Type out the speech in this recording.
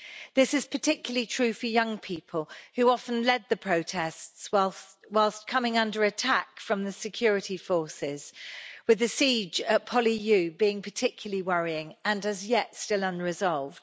This is particularly true for young people, who often led the protests whilst coming under attack from the security forces, and with the siege at PolyU being particularly worrying and, as yet, still unresolved.